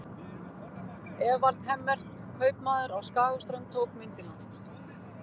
Evald Hemmert, kaupmaður á Skagaströnd, tók myndina.